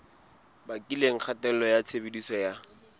bakileng kgatello ya tshebediso ya